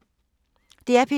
DR P2